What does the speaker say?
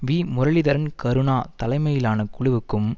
வீ முரளீதரன் கருணா தலைமையிலான குழுவுக்கும்